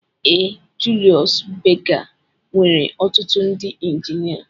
Ee Julius Berger nwere ọtụtụ ndị injinia